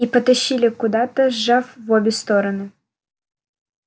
и потащили куда-то сжав в обе сторон